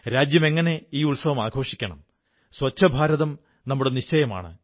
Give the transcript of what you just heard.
രാജ്യം എങ്ങനെ ഈ ഉത്സവം ആഘോഷിക്കണം സ്വച്ഛഭാരതം നമ്മുടെ നിശ്ചയമാണ്